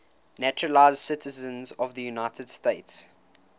naturalized citizens of the united states